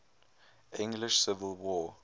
english civil war